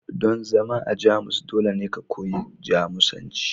don zama a Jamus dole ne ku koyi Jamusanci